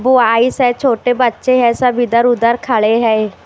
वो आइस है छोटे बच्चे हैं सब इधर उधर खड़े है।